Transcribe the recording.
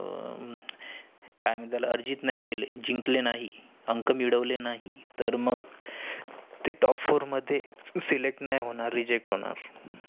आह काय मानेत त्याला अरिजित नाही केले. जिकंले नाही अंक मिळवेले नाही. तर मग ते top four मध्ये select नाही होणार. reject होणार.